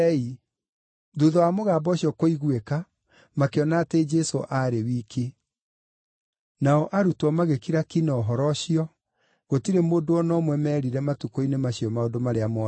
Thuutha wa mũgambo ũcio kũiguĩka, makĩona atĩ Jesũ aarĩ wiki. Nao arutwo magĩkira ki na ũhoro ũcio, gũtirĩ mũndũ o na ũmwe meerire matukũ-inĩ macio maũndũ marĩa moonete.